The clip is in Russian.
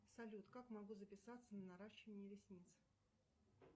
салют как могу записаться на наращивание ресниц